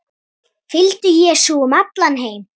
Fylgdu Jesú um allan heim